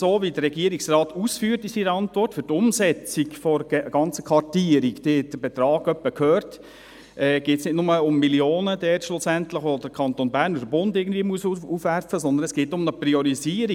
Wie der Regierungsrat in seiner Antwort ausführt, geht es bei der Umsetzung der ganzen Kartierung – sie haben den Betrag gehört – nicht nur um Millionen, welche der Kanton Bern oder der Bund aufwerfen müssen, sondern es geht auch um eine Priorisierung.